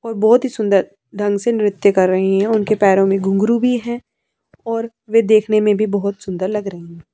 और बहुत ही सुंदर ढंग से नृत्य कर रही हैं उनके पैरों में गुंगरू भी है और वे देखने में भी बहुत सुंदर लग रही हैं।